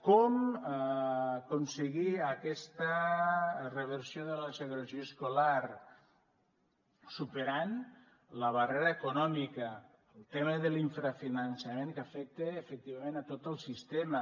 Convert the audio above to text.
com aconseguir aquesta reversió de la segregació escolar superant la barrera econòmica el tema de l’infrafinançament que afecta efectivament tot el sistema